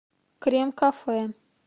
крем кафе